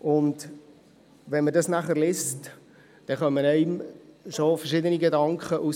Als Vertreter einer kleinen Gemeinde und einer kleinräumiger Struktur tauchen beim Lesen dann schon ein paar Gedanken auf.